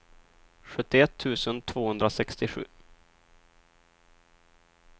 sjuttioett tusen tvåhundrasextiosju